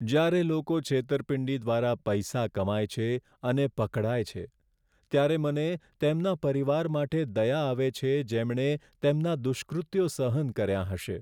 જ્યારે લોકો છેતરપિંડી દ્વારા પૈસા કમાય છે અને પકડાય છે, ત્યારે મને તેમના પરિવાર માટે દયા આવે છે, જેમણે તેમના દુષ્કૃત્યો સહન કર્યા હશે.